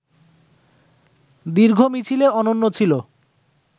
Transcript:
দীর্ঘ মিছিলে অনন্য ছিল